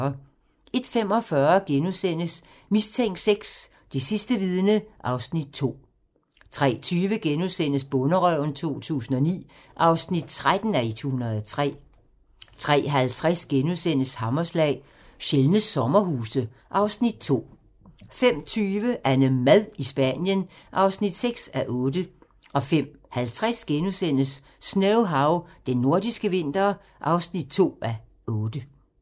01:45: Mistænkt VI: Det sidste vidne (Afs. 2)* 03:20: Bonderøven 2009 (13:103)* 03:50: Hammerslag - Sjældne sommerhuse (Afs. 2)* 05:20: AnneMad i Spanien (6:8) 05:50: Snowhow - Den nordiske vinter (2:8)*